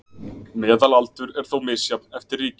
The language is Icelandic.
Meðalaldur er þó misjafn eftir ríkjum